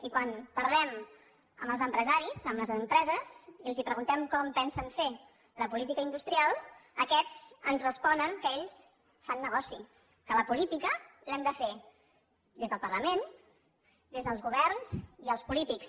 i quan parlem amb els empresaris amb les empreses i els preguntem com pensen fer la política industrial aquests ens responen que ells fan negoci que la política l’hem de fer des del parlament des dels governs i els polítics